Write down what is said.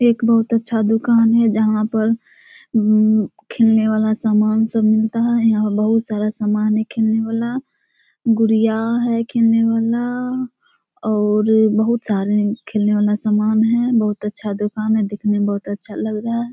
एक बहुत अच्छा दुकान है जहाँ पर अम्म खेलने वाला सामान सब मिलता है यहाँ बहुत सारा सामान है खेलने वाला गुड़िया है खेलने वाला और बहुत सारे खेलने वाला सामान है बहुत अच्छा दुकान है दिखने में बहुत अच्छा लग रहा है ।